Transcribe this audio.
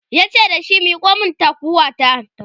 yace dashi "Miko min taguwa ta!"